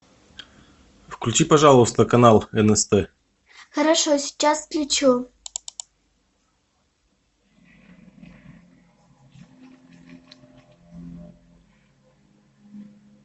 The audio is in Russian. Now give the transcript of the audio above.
включи пожалуйста канал нст хорошо сейчас включу